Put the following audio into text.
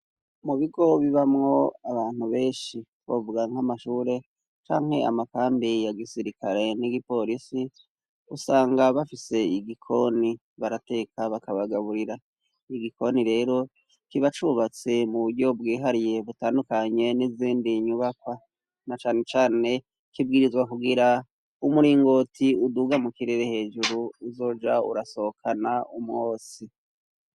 Mu bigo bibamwo abantu benshi, twovuga nk'amashure canke amakambi ya gisirikare n'igipolisi, usanga bafise igikoni, barateka bakabagaburira. Igikoni rero kiba cubatse mu buryo bwihariye butandukanye n'izindi nyubakwa, na cane cane kibwirizwa kugira umuringoti uduga mu kirere hejuru, uzoja urasohokana umwotsi.